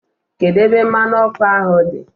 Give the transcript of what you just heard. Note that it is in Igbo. Kedu ebe mmanu oku ahu di?